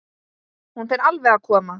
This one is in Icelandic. Hún fer alveg að koma.